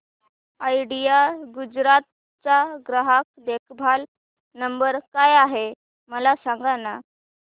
idea Gujarat चा ग्राहक देखभाल नंबर काय आहे मला सांगाना